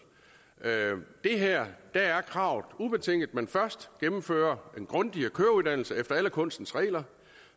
i det her er kravet ubetinget at man først gennemfører en grundig køreuddannelse efter alle kunstens regler